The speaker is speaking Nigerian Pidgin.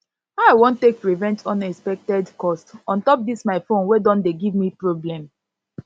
how i wan take prevent unexpected cost on top dis my phone wey don dey give me problem